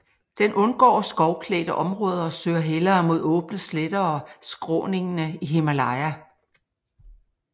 Den undgår skovklædte områder og søger hellere mod åbne sletter og skråningene i Himalaya